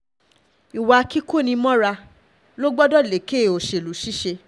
ìwà kíkoni-mọ́ra ló gbọdọ̀ lékè gbọdọ̀ lékè òṣèlú ṣiṣẹ́